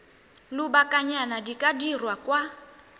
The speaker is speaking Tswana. lobakanyana di ka dirwa kwa